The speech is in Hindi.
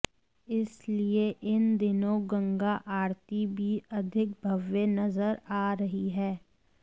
इसलिए इन दिनों गंगा आरती भी अधिक भव्य नजर आ रही है